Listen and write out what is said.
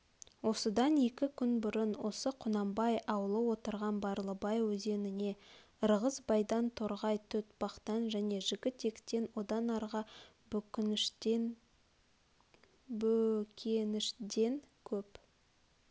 осыдан екі күн бұрын осы құнанбай аулы отырған барлыбай өзеніне ырғызбайдан торғай-көтбақтан және жігітектен одан арғы бөкеншден көп